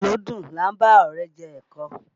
Dídùn lódùn là ń bá ọ̀rẹ́ jẹ ẹ̀kọ